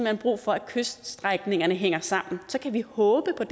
hen brug for at kyststrækningerne hænger sammen og så kan vi håbe på